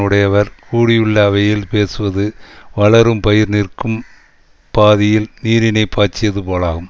உடையவர் கூடியுள்ள அவையில் பேசுவது வளரும் பயிர் நிற்கும் பாதியில் நீரினைப் பாய்ச்சியது போலாம்